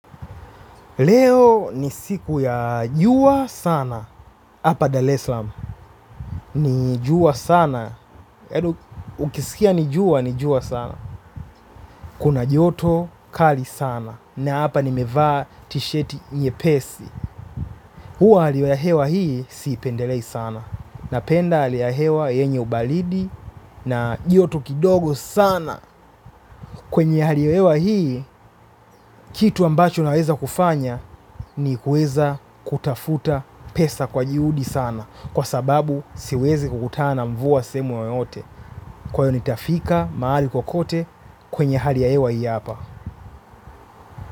Leo ni siku ya jua sana. Hapa Dar Es Salaam ni ijua sana. Ukisikia ni jua ni jua sana. Kuna joto kali sana. Na hapa nimevaa tisheti nyepesi. Huwa hali ya hewa hii, siipendelei sana. Napenda hali ya hewa yenye ubaridi. Na yoto kidogo sana. Kwenye hali ya hewa hii, kitu ambacho naweza kufanya ni kuweza kutafuta pesa kwa juhudi sana. Kwa sababu siwezi kukutana mvua na sehemu yoyote. Kwa hiyo nitafika maali kokote kwenye hali ya hewa hii apa.